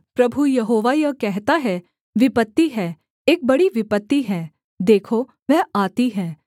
प्रभु Jehovah यह कहता है विपत्ति है एक बड़ी विपत्ति है देखो वह आती है